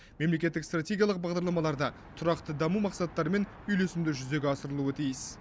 мемлекеттік стратегиялық бағдарламалар да тұрақты даму мақсаттарымен үйлесімді жүзеге асырылуы тиіс